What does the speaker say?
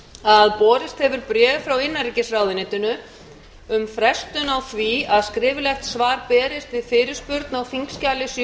að borist hefur bréf frá innanríkisráðuneytinu um frestun á því að skriflegt svar berist við fyrirspurn á þingskjali sjö